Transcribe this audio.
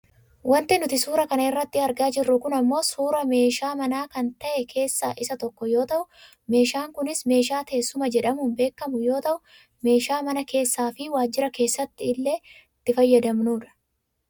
Wanti nuti suuraa kana irratti argaa jirru kun ammoo suuraa meeshaa mana kan ta'e keessaa isa tokko yoo ta'u meeshaan kunis meeshaa teessuma jedhamuun beekkamu yoo ta'u meeshaa mana keessaafi waajira keessattillee itti fayyadamnudha.